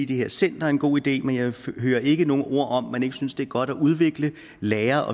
det her center er en god idé men jeg hører ikke nogen ord om at man ikke synes det er godt at udvikle lære